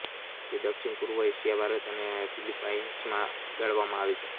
તે દક્ષિણ પૂર્વ એશિયા ભારત અને ફીલીપાઈન્સમાં ઉગાડવામાં આવે છે